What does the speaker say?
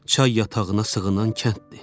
Çay yatağına sığınan kənddir.